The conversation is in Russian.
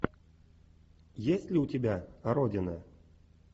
есть ли у тебя родина